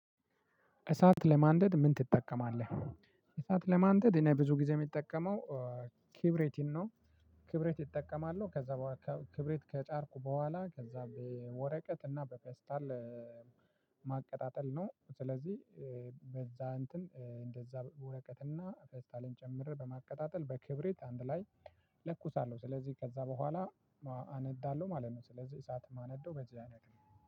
እሳት ለማንደድ ምን ትጠቀማለህ? እሳት ለማንደድ እኔ ብዙ ጊዜ የሚጠቀመው ክብሬት ነው። ክብሬት እጠቀማለው ከዛ ክብሬት ከጫርኩ በኋላ ከዛ በወረቀት እና በፌስታል ማቀጣጠል ነው። ስለዚህ በዛ እንትን እንደዛ ወረቀት እና ፌስታልን ጨምሬ በማቀጣጠል በክብሪት አንድ ላይ ለኩሳለሁ። ስለዚህ ከዛ በኋላ አነዳለሁ ማለት ነው። ስለዚህ እሳት የማነዳው በዚህ አይነት ነው።